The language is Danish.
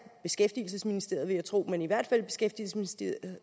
beskæftigelsesministeriet vil jeg tro men i hvert fald beskæftigelsesministeriet